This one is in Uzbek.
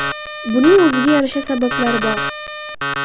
Buning o‘ziga yarasha sabablari bor.